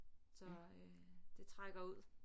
Så øh det trækker ud